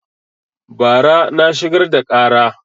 Bara na shigar da ƙara